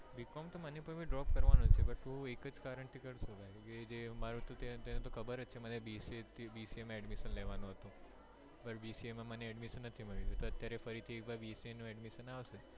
b. com મને પણ drop કારણ કે તને તો ખબર જ છે કે મારે bca માં admission લેવાનું હતું હવે ફરી bca માં મને admission નથી મળ્યું